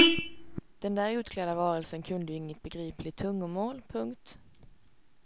Den där utklädda varelsen kunde ju inget begripligt tungomål. punkt